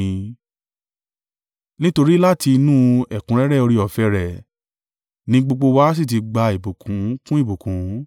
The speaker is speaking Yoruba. Nítorí láti inú ẹ̀kúnrẹ́rẹ́ oore-ọ̀fẹ́ rẹ̀ ni gbogbo wa sì ti gba ìbùkún kún ìbùkún.